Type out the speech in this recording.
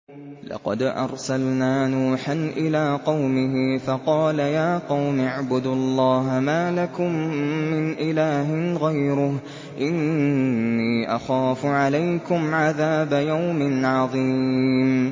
لَقَدْ أَرْسَلْنَا نُوحًا إِلَىٰ قَوْمِهِ فَقَالَ يَا قَوْمِ اعْبُدُوا اللَّهَ مَا لَكُم مِّنْ إِلَٰهٍ غَيْرُهُ إِنِّي أَخَافُ عَلَيْكُمْ عَذَابَ يَوْمٍ عَظِيمٍ